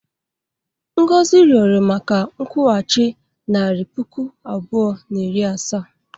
Ngozika rịọrọ maka nkwụghachi nari puku abụọ na iri asaa.